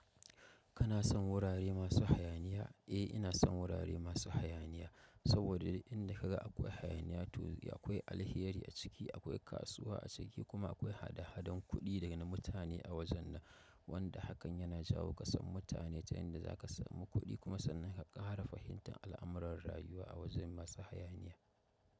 Kana son wurare masu hayaniya? Eh, ina son wurare masu hayaniya saboda di'inda ka ga akwai hayaniya to akwai alheri a ciki, akwai kasuwa a ciki kuma akwai hada-hadan kuɗi daga mutane a wajen nan wanda hakan yana jawo kasan mutane ta yanda za ka samu kuɗi kuma sannan ha ƙara fahimtan al'amuran rayuwa a wajen masu hayaniya.